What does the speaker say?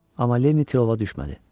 Amma Lenni tilova düşmədi.